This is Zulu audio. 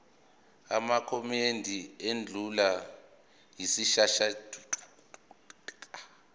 amakomidi endlu yesishayamthetho